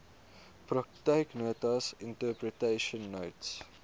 praktyknotas interpretation notes